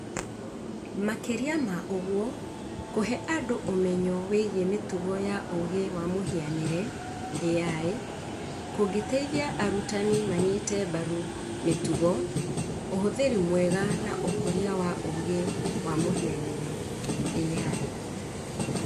Makĩria ma ũguo, kũhe andũ ũmenyo wĩgiĩ mĩtugo ya ũũgĩ wa mũhianĩre(AI) kũngĩteithia arutani manyite mbaru mĩtugo ,ũhũthĩri mwega na ũkũria wa ũũgĩ wa mũhianĩre(AI).